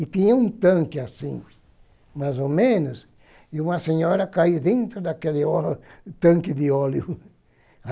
E tinha um tanque assim, mais ou menos, e uma senhora caiu dentro daquele óleo tanque de óleo.